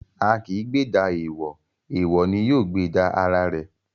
A kì í gbèjà èèwọ̀, èèwọ̀ ni yóò gbèjà ara ẹ̀.